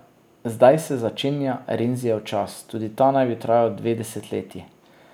Zdaj se začenja Renzijev čas, tudi ta naj bi trajal dve desetletji.